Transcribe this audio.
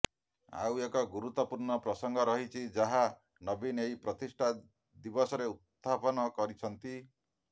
ଆଉ ଏକ ଗୁରୁତ୍ବପୂର୍ଣ୍ଣ ପ୍ରସଂଗ ରହିଛି ଯାହା ନବୀନ ଏହି ପ୍ରତିଷ୍ଠା ଦିବସରେ ଉତ୍ଥାପନ କରିଛନ୍ତି